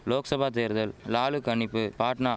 லோக்சபா தேர்தல் லாலு கணிப்பு பாட்னா